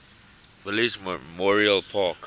village memorial park